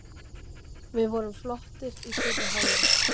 Við vorum flottir í fyrri hálfleik.